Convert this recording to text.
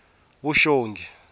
vuxongi